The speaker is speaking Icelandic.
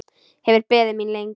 Hefur beðið mín lengi.